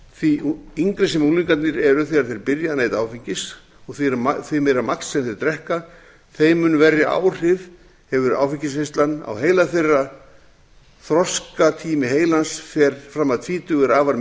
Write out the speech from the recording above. því yngri sem unglingarnir eru þegar þeir byrja að neyta áfengis og því meira magn sem þeir drekka þeim mun verri áhrif hefur áfengisneyslan á heila þeirra þroskatími heilans fram að tvítugu er afar